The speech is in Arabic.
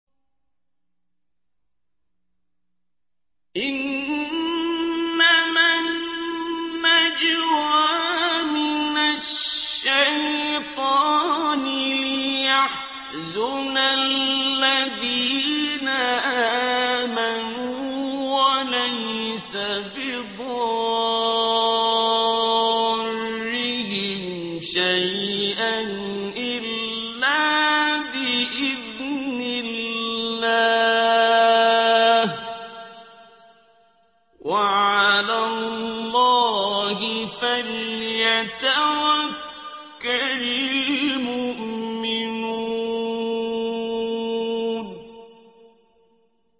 إِنَّمَا النَّجْوَىٰ مِنَ الشَّيْطَانِ لِيَحْزُنَ الَّذِينَ آمَنُوا وَلَيْسَ بِضَارِّهِمْ شَيْئًا إِلَّا بِإِذْنِ اللَّهِ ۚ وَعَلَى اللَّهِ فَلْيَتَوَكَّلِ الْمُؤْمِنُونَ